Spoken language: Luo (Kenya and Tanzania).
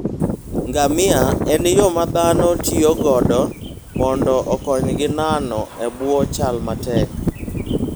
Ngamia en yo ma dhano tiyogo mondo okonygi nano e bwo chal matek.